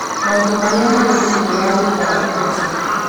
Maũndũ Marĩa Marĩ Thĩinĩ wa Wĩra wa Mbeca: